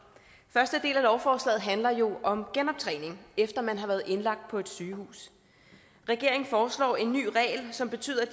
første del af lovforslaget handler jo om genoptræning efter at man har været indlagt på et sygehus regeringen foreslår en ny regel som betyder at